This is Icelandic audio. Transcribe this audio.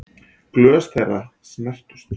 Glös þeirra snertust.